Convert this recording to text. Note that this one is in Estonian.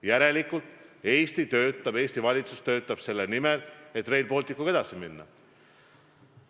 Järelikult Eesti valitsus töötab selle nimel, et Rail Balticuga edasi minna.